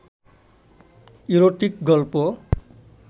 erotic গল্প